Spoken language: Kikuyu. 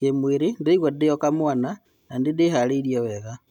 "Kimwiri, ndĩraigua ndĩo-kamwana na nĩ-ndĩharĩirie wega.